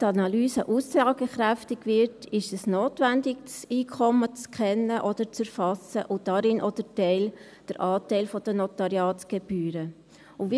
Damit die Analyse aussagekräftig wird, ist es notwendig, das Einkommen, und darin auch den Anteil der Notariatsgebühren, zu kennen oder zu erfassen.